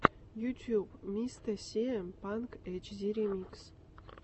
ютьюб мистэ сиэм панк эйтчди ремикс